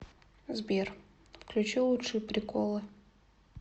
сбер включи лучшие приколы